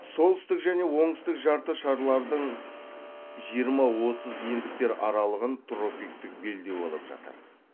солтүстік және оңтүстік жарты шарлардың жиырма отыз ендіктер аралығын тропиктік белдеу алып жатыр